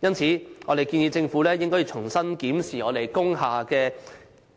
故此，我們建議政府應重新檢視